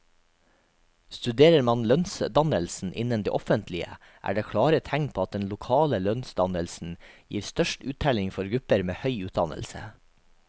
Studerer man lønnsdannelsen innen det offentlige, er det klare tegn på at den lokale lønnsdannelsen gir størst uttelling for grupper med høy utdannelse.